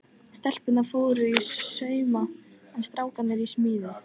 Stelpurnar fóru í sauma en strákarnir í smíðar.